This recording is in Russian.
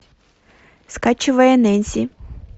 скачивая нэнси